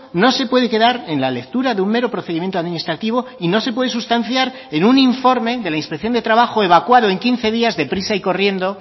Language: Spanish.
no se puede quedar en la lectura de un mero procedimiento administrativo y no se puede sustanciar en un informe de la inspección de trabajo evacuado en quince días deprisa y corriendo